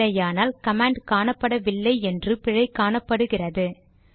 இல்லையானால் கமாண்ட் காணப்படவில்லை என்று பிழை காணப்படுகிறது